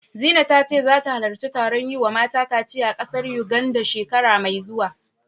Zina ta ce zata halarci taron yi wa mata kaciya a ƙasar Yuganda, shekara mai zuwa.